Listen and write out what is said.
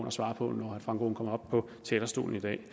at svare på når frank aaen kommer op på talerstolen i dag